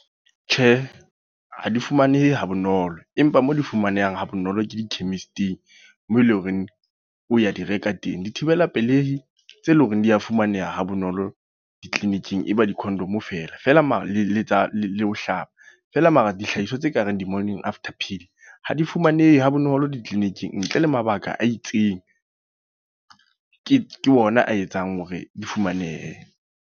Tjhe, ha di fumanehe ha bonolo. Empa mo difumanehang ha bonolo ke di chemist-ing. Mo eleng hore o ya di reka teng. Dithibela pelehi, tse leng hore di a fumaneha ha bonolo di-clinic-ing e ba di condom fela. Fela mare le tsa, le ho hlaba. Feela mara dihlahiswa tse kareng di-Morning After Pill ha di fumanehe ha bonolo di-clinic-ing. Ntle le mabaka a itseng, ke ke ona a etsang hore di fumanehe.